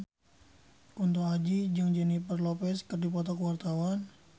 Kunto Aji jeung Jennifer Lopez keur dipoto ku wartawan